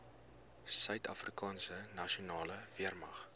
suidafrikaanse nasionale weermag